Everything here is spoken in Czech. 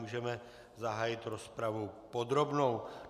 Můžeme zahájit rozpravu podrobnou.